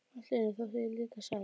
Allt í einu þótti ég líka sæt.